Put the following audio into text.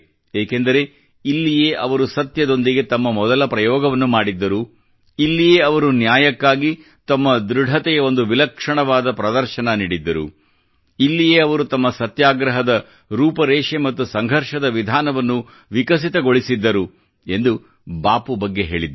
ಏಕೆಂದರೆ ಇಲ್ಲಿಯೇ ಅವರು ಸತ್ಯದೊಂದಿಗೆ ತಮ್ಮ ಮೊದಲ ಪ್ರಯೋಗವನ್ನು ಮಾಡಿದ್ದರು ಇಲ್ಲಿಯೇ ಅವರು ನ್ಯಾಯಕ್ಕಾಗಿ ತಮ್ಮ ಧ್ರುಡತೆಯ ಒಂದು ವಿಲಕ್ಷಣವಾದ ಪ್ರದರ್ಶನ ನೀಡಿದ್ದರು ಇಲ್ಲಿಯೇ ಅವರು ತಮ್ಮ ಸತ್ಯಾಗ್ರಹದ ರೂಪು ರೇಷೆ ಮತ್ತು ಸಂಘರ್ಷದ ವಿಧಾನವನ್ನು ವಿಕಸಿತಗೊಳಿಸಿದ್ದರು ಎಂದು ಬಾಪೂ ಅವರ ಬಗ್ಗೆ ಹೇಳಿದ್ದರು